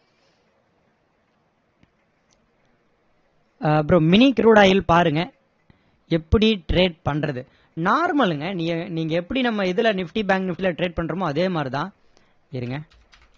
ஆஹ் bro mini crude oil பாருங்க எப்படி trade பண்றது normal ங்க நீ~ நீங்க எப்படி நம்ம இதுல nifty bank nifty ல trade பண்றோமோ அதே மாதிரி தான்